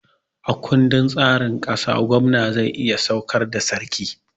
A ƙundin tsarin ƙasa, gwamna zai iya saukar da sarki